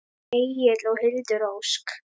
Þín Egill og Hildur Ósk.